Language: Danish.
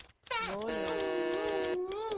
Måløv